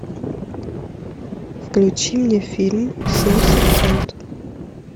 включи мне фильм семь секунд